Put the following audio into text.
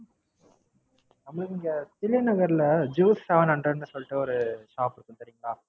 இங்க தில்லை நகர்ல Juice a seven hundred ன்னு ஒரு Shop இருக்கும் தெரியும்களா.